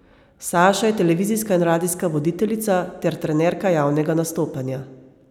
Saša je televizijska in radijska voditeljica ter trenerka javnega nastopanja.